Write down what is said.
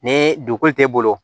Ni degun t'e bolo